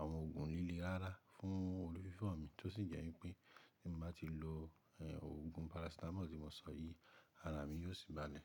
àwọn òògùn líle rárá fún orí fífọ́ mi tó sì jẹ́ wípé tí mo bá ti lo ẹ̀ òògùn parasítámọ̀ tí mo sọ yìí ara mi yóò sì bá lẹ̀.